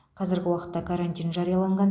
қазіргі уақытта карантин жарияланған